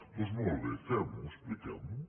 doncs molt bé fem ho expliquem ho